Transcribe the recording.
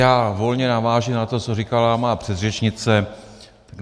Já volně navážu na to, co říkala má předřečnice.